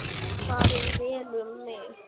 Farið vel um mig?